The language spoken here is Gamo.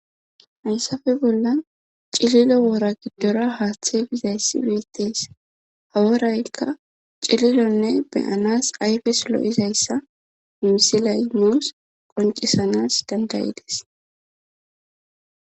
hayssafe bolla cililo woora giddora haaththe bizayssi wiittes haworaykka cililonne beyanas ayfes lo7izayssa misilay nuus qoncisanas dandayides